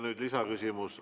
Nüüd lisaküsimus.